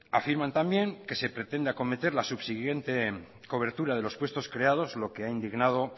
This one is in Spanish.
afirman también que se pretende acometer la subsiguiente cobertura de los puestos creados lo que ha indignado